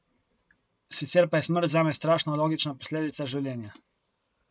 Sicer pa je smrt zame strašno logična posledica življenja.